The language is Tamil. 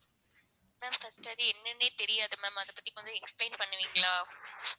ma'am first அது என்னன்னே தெரியாது ma'am அதைப் பத்தி கொஞ்சம் explain பண்ணுவீங்களா?